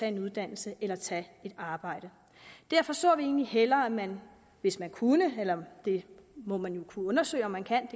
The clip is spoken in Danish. en uddannelse eller at tage et arbejde derfor så vi egentlig hellere at man hvis man kunne det må man jo kunne undersøge om man kan